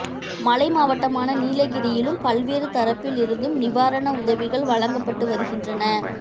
மலை மாவட்டமான நீலகிரியிலும் பல்வேறு தரப்பில் இருந்தும் நிவாரண உதவிகள் வழங்கப்பட்டு வருகின்றன